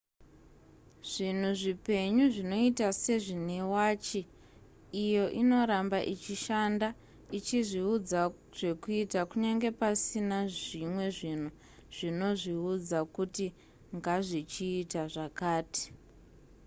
zvinhu zvipenyu zvinoita sezvine wachi iyo inoramba ichishanda ichizviudza zvekuita kunyange pasina zvimwe zvinhu zvinozviudza kuti ngazvichiita zvakati